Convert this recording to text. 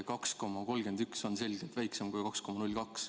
2,31% on selgelt kui 2,02%.